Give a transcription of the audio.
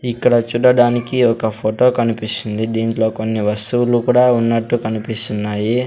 ఇక్కడ చూడడానికి ఒక ఫోటో కనిపిస్తుంది దీంట్లో కొన్ని వస్తువులు కూడా ఉన్నట్టు కనిపిస్తున్నాయి.